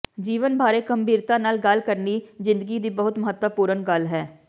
ਜੀਵਨ ਬਾਰੇ ਗੰਭੀਰਤਾ ਨਾਲ ਗੱਲ ਕਰਨੀ ਜ਼ਿੰਦਗੀ ਦੀ ਬਹੁਤ ਮਹੱਤਵਪੂਰਨ ਗੱਲ ਹੈ